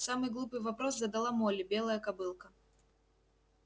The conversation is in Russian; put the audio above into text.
самый глупый вопрос задала молли белая кобылка